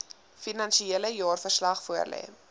finansiële jaarverslag voorlê